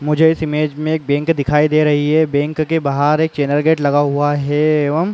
मुझे इस इमेज में एक बैंक दिखाई दे रही है बैंक के बाहर एक चैनल गेट लगा हुआ है एवं --